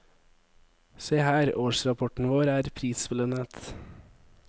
Se her, årsrapporten vår er prisbelønnet.